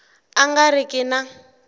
a nga ri ki na